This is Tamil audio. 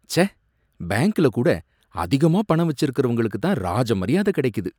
ச்சே! பேங்க்ல கூட அதிகமா பணம் வச்சுருக்கறவங்களுக்கு தான் ராஜ மரியாதை கிடைக்குது.